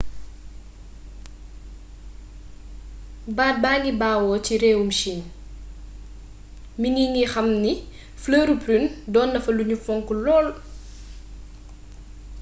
baat baa ngi bawoo ci réewum chine mingi nga xam ni flëri prune doon nafa luñu fonk lool